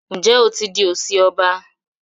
Njé o tí dì osi ọba?